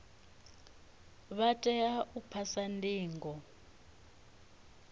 vha tea u phasa ndingo